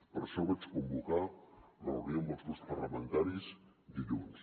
per això vaig convocar la reunió amb els grups parlamentaris dilluns